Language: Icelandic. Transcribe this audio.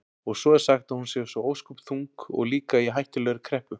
Og svo er sagt að hún sé svo ósköp þung og líka í hættulegri kreppu.